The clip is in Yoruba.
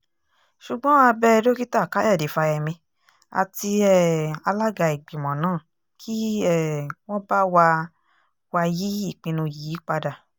ṣùgbọ́n a bẹ dókítà káyọ̀dé fáyemí àti um alága ìgbìmọ̀ náà kí um wọ́n bá wa wa yí ìpinnu yìí padà